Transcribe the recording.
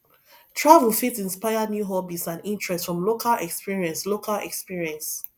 travel fit inspire new hobbies and interests from local experience local experience